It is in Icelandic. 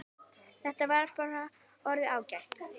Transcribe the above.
Þetta var bara orðið ágætt.